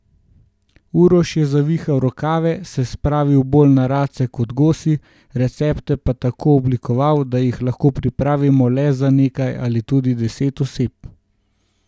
Uroš je zavihal rokave, se spravil bolj na race kot gosi, recepte pa tako oblikoval, da jih lahko pripravimo le za nekaj ali tudi deset oseb.